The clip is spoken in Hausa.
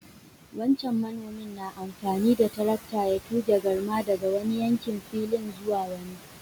Wancan manomin na amfani da tarakta ya túge garma daga wani yankin filin zuwa wani.